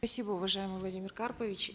спасибо уважаемый владимир карпович